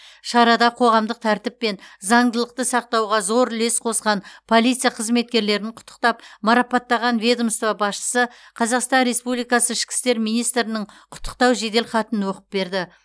шарада қоғамдық тәртіп пен заңдылықты сақтауға зор үлес қосқан полиция қызметкерлерін құттықтап марапаттаған ведомство басшысы қазақстан республикасы ішкі істер министрінің құттықтау жедел хатын оқып берді